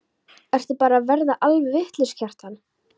Ertu bara að verða alveg vitlaus, Kjartan?